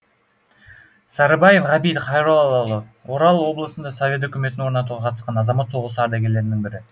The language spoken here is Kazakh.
сарыбаев ғабит хайроллаұлы орал облысында совет өкіметін орнатуға қатысқан азамат соғысы ардагерлерінің бірі